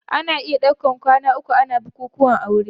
Ana iya daukar kwana uku ana bukuwan aure.